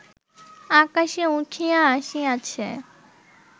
আকাশে উঠিয়া আসিয়াছে